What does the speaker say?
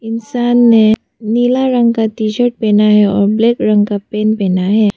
इंसान ने नीला रंग का टी शर्ट पहना है और ब्लैक रंग का पैंट पहना है।